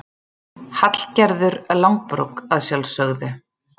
Hallgerður langbrók, að sjálfsögðu.